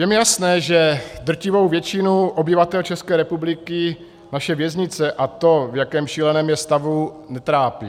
Je mi jasné, že drtivou většinu obyvatel České republiky naše věznice a to, v jakém šíleném je stavu, netrápí.